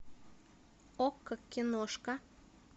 окко киношка